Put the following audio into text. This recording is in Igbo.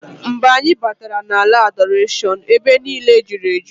Mgbe anyị batara na ala Adọrashọn, ebe niine julu eju.